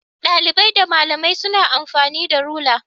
Dalibai da malamai suna amfani da rula